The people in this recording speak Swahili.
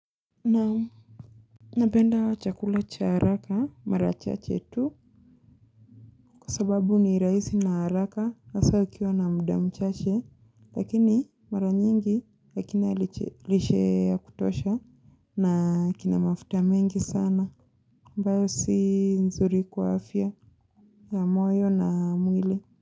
Na Napenda chakula cha haraka mara chache tu Kwa sababu ni rahisi na haraka hasa ukiwa na mda mchache Lakini mara nyingi hakina lishe ya kutosha na kina mafuta mengi sana ambayo si nzuri kwa afya ya moyo na mwili.